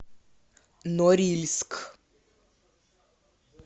норильск